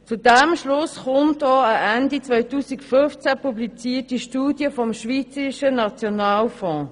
Zu diesem Schluss kommt auch eine Ende 2015 publizierte Studie des Schweizerischen Nationalfonds.